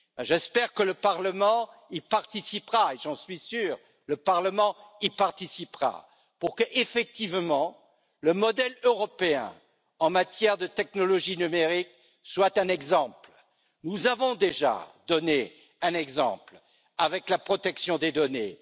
J'espère que le Parlement y participera et j'en suis sûr, le Parlement y participera pour qu'effectivement, le modèle européen en matière de technologies numériques soit un exemple. Nous avons déjà donné un exemple avec la protection des données.